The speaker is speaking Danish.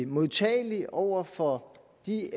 modtagelig over for de